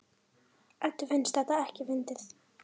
Eddu finnst þetta ekkert fyndið.